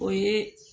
O ye